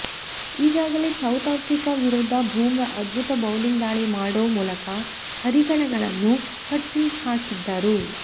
ಈಗಾಗಲೇ South Africa ವಿರುದ್ಧ ಬುಮ್ರಾ ಅದ್ಬುತ ಬೌಲಿಂಗ್ ದಾಳಿ ಮಾಡೋ ಮೂಲಕ ಹರಿಗಣಗಳನ್ನು ಕಟ್ಟಿಹಾಕಿದ್ದರು